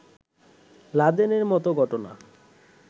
লাদেনের মতো ঘটনা